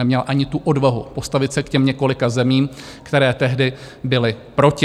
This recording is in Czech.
Neměla ani tu odvahu postavit se k těm několika zemím, které tehdy byly proti.